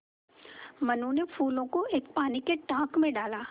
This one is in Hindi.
मनु ने फूलों को एक पानी के टांक मे डाला